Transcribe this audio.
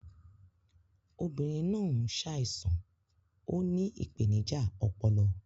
obinrin naa n ṣaisan; Ó ní ìpèníjà ọpọlọ